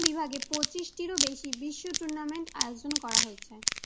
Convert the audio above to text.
বিভাগে পঁচিশটিরও বেশি বিশ্ব tournament আয়োজন করা হয়েছে।